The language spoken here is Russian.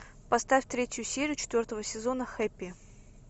поставь третью серию четвертого сезона хэппи